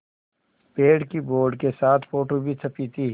पेड़ की बोर्ड के साथ फ़ोटो भी छपी थी